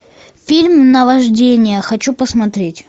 фильм наваждение хочу посмотреть